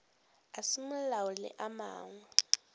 a semolao le a mangwe